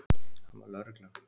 Hann var lögreglan.